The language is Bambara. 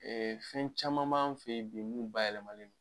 fɛn caman b'an fe yen bi mun bayɛlɛmalen d